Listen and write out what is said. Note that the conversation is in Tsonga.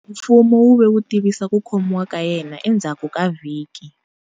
Mfumo wu ve wu tivisa ku khomiwa ka yena endzhaku ku vhiki.